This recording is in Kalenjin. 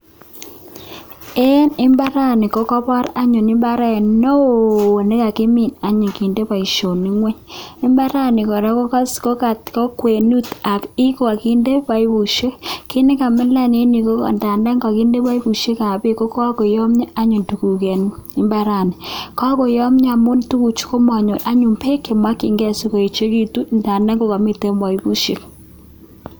En mbarani ko kapar anyun mbareet ne oo ne kakikol kinde poishonik ng'wany. Imbarani kora ko kwenut ap yu kakinde paipushek. Kiit ne kamilan en yu ko ndandan kakinde paipushek ap peek ko kakoyamya anyun tuguuk en imbarani. Kakoyamya amu tuguchu ko manyor anyun peek che makchingei asikoektitu ndandan ko kamite paipushek.